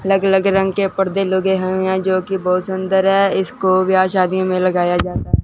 अलग अलग रंग के परदे लगे हैं यहां जो की बहुत सुंदर है इसको व्याह शादी में लगाया जाता--